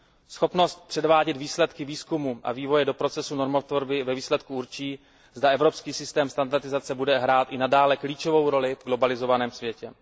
Schopnost převádět výsledky výzkumu a vývoje do procesu normotvorby ve výsledku určí, zda evropský systém standardizace bude hrát i nadále klíčovou roli v globalizovaném světě.